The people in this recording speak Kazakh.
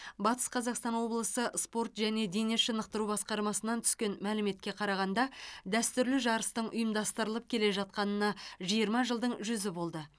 батыс қазақстан облысы спорт және дене шынықтыру басқармасынан түскен мәліметке қарағанда дәстүрлі жарыстың ұйымдастырылып келе жатқанына жиырма жылдың жүзі болды